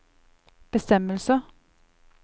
bestemmelser